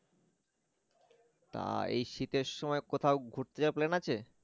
তা এই শীতে কোথাও ঘুরতে যাওয়ার plan আছে